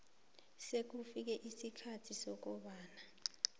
sekufike isikhathi sokobana